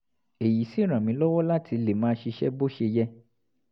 èyí sì ràn mí lọ́wọ́ láti lè máa ṣiṣẹ́ bó ṣe yẹ